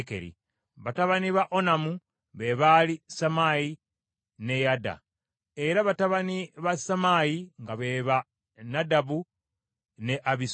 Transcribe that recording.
Batabani ba Onamu be baali Sammayi ne Yada, ate batabani ba Sammayi nga be ba Nadabu ne Abisuli.